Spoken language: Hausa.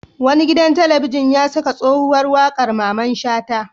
Wani gidan talabijin ya saka tsohuwar waƙar Mamman Shata.